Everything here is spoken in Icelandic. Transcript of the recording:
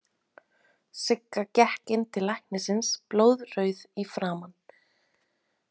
Sigga gekk inn til læknisins blóðrauð í framan.